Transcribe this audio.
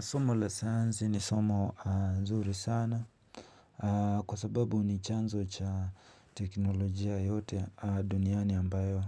Somo la sayansi ni somo nzuri sana. Kwa sababu ni chanzo cha teknolojia yote duniani ambayo